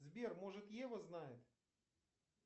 сбер может ева знает